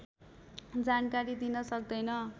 जानकारी दिन सक्दैन